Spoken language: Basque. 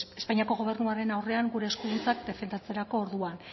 espainiako gobernuaren aurrean gure eskuduntzak defendatzerako orduan